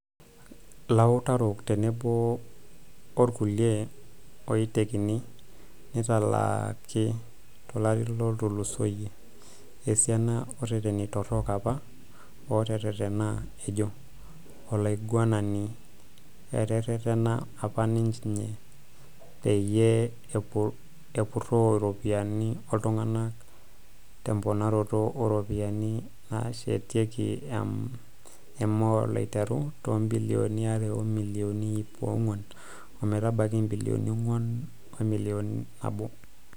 Lautarok tenebo olkulia oitekini neitalaaki tolari otulusoyia esiana ooreteni torok apa ooteretena, ejoo olaiguanani eteretena apa ninje peyie epuroo iropyiani ooltunganak temponaroto ooropiyani naasheteki emall aiteru too ibilioni are o milioni iip onguan ometabaiki ibilioni onguan wemilion nabo.